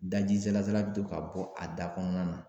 Daji salasala be tɔ ka bɔ a da kɔnɔna na.